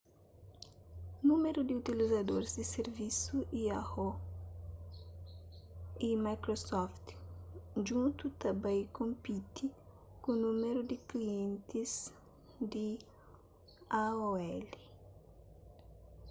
númeru di utilizadoris di sirvisus yahoo y microsoft djuntu ta bai konpiti ku númeru di klientis di aol